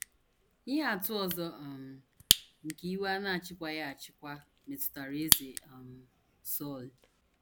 Ihe atụ ọzọ um nke iwe a na - achịkwaghị achịkwa metụtara Eze um Sọl.